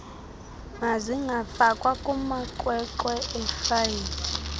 mazingafakwa kumaqweqwe eefayile